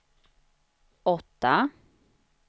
åtta